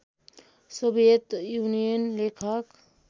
Soviet Union लेखक